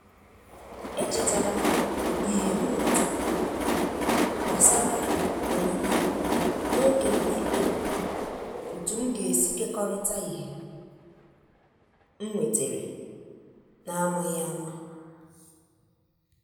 E chetara m ìhè mmụta gbasàra onyinye n’oge m na-ekpebi otu m ga-esi kekọrịta ìhè m nwetàrà n’amaghị àmà.